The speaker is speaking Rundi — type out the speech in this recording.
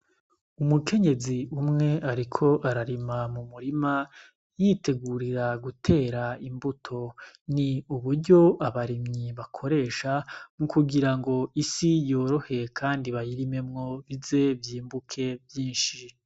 Umukenyezi umwe ariko ararima m'umurima yitegurira gutera imbuto, ni uburyo abarimyi bakoresha ni kugira ngo isi yorohe kandi bayirimemwo. Ize y'imbuke vyinshi.